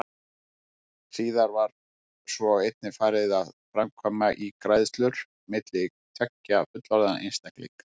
Síðar var svo einnig farið að framkvæma ígræðslur milli tveggja fullorðinna einstaklinga.